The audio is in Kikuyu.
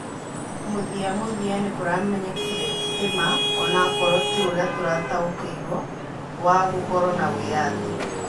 Muthiamuthia, nĩkũramenyekire ti ma - onakorwo ti ũrĩa turataũkĩirwo wa gũkorwo na wĩathĩ